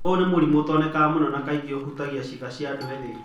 Ũyũ nĩ mũrimũ ũtonekaga mũno na kaingĩ ũhutagia ciana na andũ ethĩ.